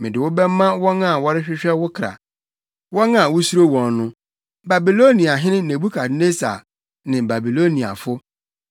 Mede wo bɛma wɔn a wɔrehwehwɛ wo kra, wɔn a wusuro wɔn no; Babiloniahene Nebukadnessar ne Babiloniafo.